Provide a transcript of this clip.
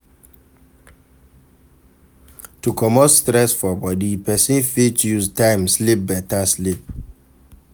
To comot stress for body, person fit use time sleep better sleep